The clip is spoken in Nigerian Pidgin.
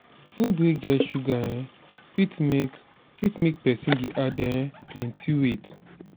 food wey get sugar um fit make fit make person dey add um plenty weight